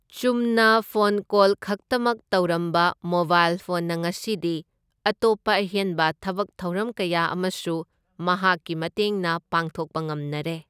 ꯆꯨꯝꯅ phone call ꯈꯛꯇꯃꯛ ꯇꯧꯔꯝꯕ ꯃꯣꯕꯥꯏꯜ ꯐꯣꯟꯅ ꯉꯁꯤꯗꯤ ꯑꯇꯣꯞꯄ ꯑꯍꯦꯟꯕ ꯊꯕꯛ ꯊꯧꯔꯝ ꯀꯌꯥ ꯑꯃꯁꯨ ꯃꯍꯥꯛꯀꯤ ꯃꯇꯦꯡꯅ ꯄꯥꯡꯊꯣꯛꯄ ꯉꯝꯅꯔꯦ꯫